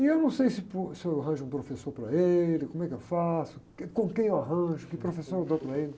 E eu não sei se por, se eu arranjo um professor para ele, como é que eu faço, com quem eu arranjo, que professor eu dou para ele.